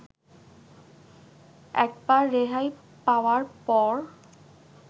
একবার রেহাই পাওয়ার পর